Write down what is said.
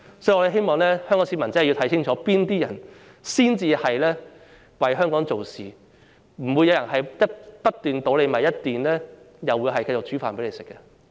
所以，我希望香港市民真的要看清楚，哪些人才是為香港做事，不會有人一邊"倒米"，一邊繼續為大家做飯的。